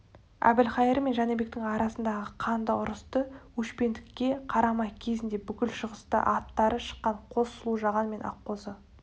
әбілқайыр мен жәнібектің арасындағы қанды ұрысты өшпендікке қарамай кезінде бүкіл шығысқа аттары шыққан қос сұлу жаған мен аққозы